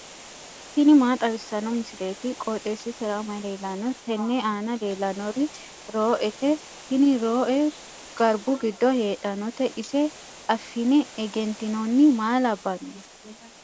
tini maa xawissanno misileeti? qooxeessisera may leellanno? tenne aana leellannori roo'ete. tini rooe garbu giddo heedhannote ise affine egentinoonni maa labbanno?